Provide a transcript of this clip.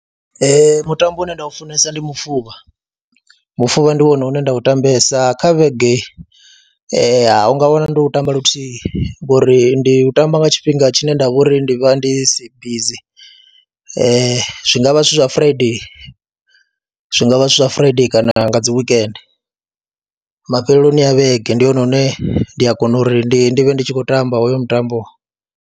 Ee, mutambo une nda u funesa ndi mufuvha mufuvha, ndi wone une nda u tambesa kha vhege a u nga wana ndo u tamba luthihi ngori ndi u tamba nga tshifhinga tshine nda vho ri ndi vha ndi si bizi, zwi zwi ngavha zwithu zwa Friday, zwi nga vha zwithu zwa Friday kana nga dzi wekende. Mafheloni a vhege ndi hone hune ndi a kona uri ndi vhe ndi tshi khou tamba hoyo mutambo.